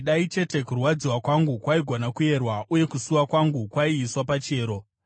“Dai chete kurwadziwa kwangu kwaigona kuyerwa uye kusuwa kwangu kwaiiswa pachiyero!